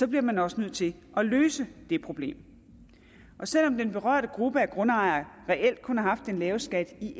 bliver man også nødt til at løse det problem selv om den berørte gruppe af grundejere reelt kun har haft den lave skat i